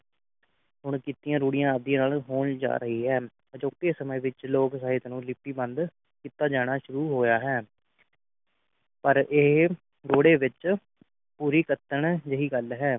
ਹੁਣ ਕੀਤੀਆਂ ਰੂੜੀਆਂ ਆਦਿ ਨਾਲ ਹੋਣ ਜਾ ਰਹੀ ਹੈ ਅਜੋਕੇ ਸਮੇ ਵਿਚ ਲੋਕ ਸਾਹਿਤ ਨੂੰ ਲਿਪੀ ਬੰਦ ਕੀਤਾ ਜਾਣਾ ਸ਼ੁਰੂ ਹੋਇਆ ਹੈ ਪਰ ਇਹ ਰੁੜੇ ਵਿਚ ਪੂਰੀ ਕਤਨ ਜੇਹੀ ਗੱਲ ਹੈ